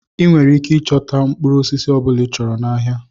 Ị nwere ike ịchọta mkpụrụ osisi ọ bụla ịchọrọ n'ahịa.